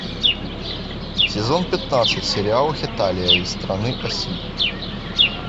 сезон пятнадцать сериал хеталия и страны оси